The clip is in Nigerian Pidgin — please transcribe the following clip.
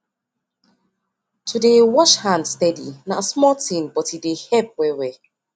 to dey wash hand steady na small thing but e dey help well well